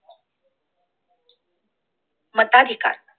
मताधिकार